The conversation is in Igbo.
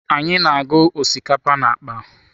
Anyị na-agụ osikapa na akpa.